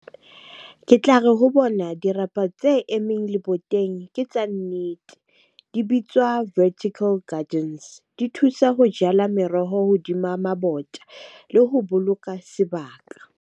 Ke tla re ho bona dirapa tse emeng leboteng ke tsa nnete. Di bitswa vertical gardens. Di thusa ho jala meroho hodima mabota le ho boloka sebaka.